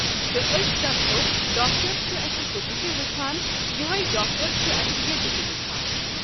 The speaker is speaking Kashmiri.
تہٕ أسی دَپہَو ڈآکر چِھِ اَسہِ ہُتہِ تہِ وٕچھان یِہٕے ڈاکٹر چھِ اَسہِ ییٚتہِ وُچھان۔